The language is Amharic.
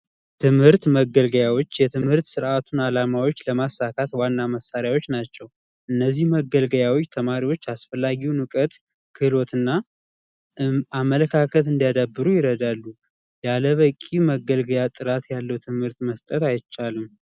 የትምህርት መገልገያዎች የትምህርት ስርዓቱን ለማሳካት ዋና መሳሪያዎች ናቸው። እነዚህ መገልገያዎች ተማሪዎች አስፈላጊን እውቀት ክህሎት እና አመለካከት እንዲያዳብሩ ይረዳሉ። ያለበቂ መገልገያ ጥራት ያለው ትምህርት መስጠት አይቻልም።